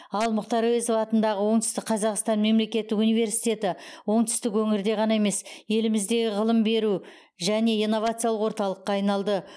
ал мұхтар әуезов атындағы оңтүстік қазақстан мемлекеттік университеті оңтүстік өңірде ғана емес еліміздегі ғылым беру және инновациялық орталыққа айналды